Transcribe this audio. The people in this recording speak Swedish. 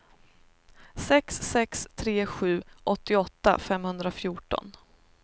sex sex tre sju åttioåtta femhundrafjorton